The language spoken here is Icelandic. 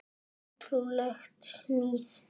Ótrúleg smíð.